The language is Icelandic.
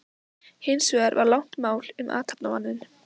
Hins vegar var langt mál um athafnamanninn